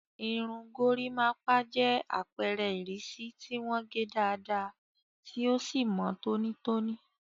Irun gorimapa jẹ́ àpẹẹrẹ ìrísí tí wọ́n gé dáadáa tí ó sì mọ́ tónítóní.